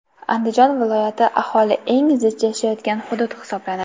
Andijon viloyati aholi eng zich yashayotgan hudud hisoblanadi.